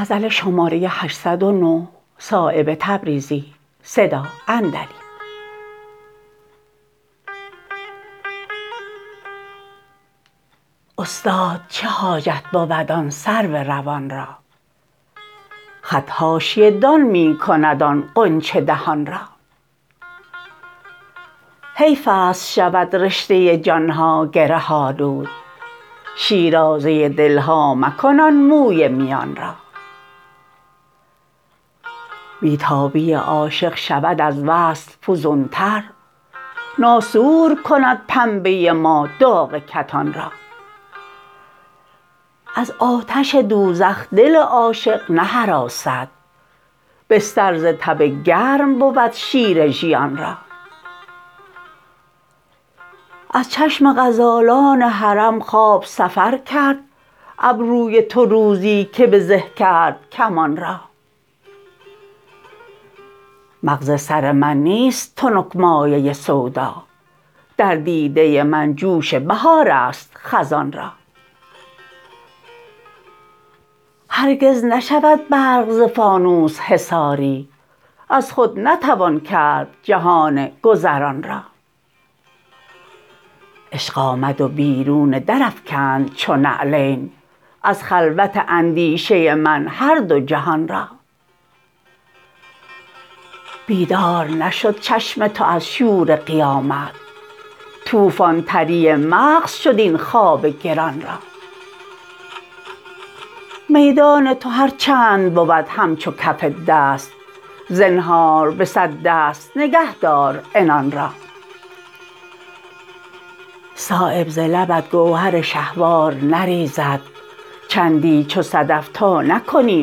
استاد چه حاجت بود آن سرو روان را خط حاشیه دان می کند آن غنچه دهان را حیف است شود رشته جان ها گره آلود شیرازه دل ها مکن آن موی میان را بی تابی عاشق شود از وصل فزون تر ناسور کند پنبه ما داغ کتان را از آتش دوزخ دل عاشق نهراسد بستر ز تب گرم بود شیر ژیان را از چشم غزالان حرم خواب سفر کرد ابروی تو روزی که به زه کرد کمان را مغز سر من نیست تنک مایه سودا در دیده من جوش بهارست خزان را هرگز نشود برق ز فانوس حصاری از خود نتوان کرد جهان گذران را عشق آمد و بیرون در افکند چو نعلین از خلوت اندیشه من هر دو جهان را بیدار نشد چشم تو از شور قیامت طوفان تری مغز شد این خواب گران را میدان تو هر چند بود همچو کف دست زنهار به صد دست نگه دار عنان را صایب ز لبت گوهر شهوار نریزد چندی چو صدف تا نکنی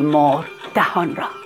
مهر دهان را